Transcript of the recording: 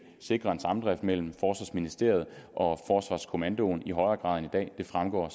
sikre en samdrift mellem forsvarsministeriet og forsvarskommandoen i højere grad end i dag det fremgår